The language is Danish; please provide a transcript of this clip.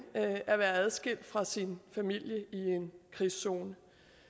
at være adskilt fra sin familie i en krigszone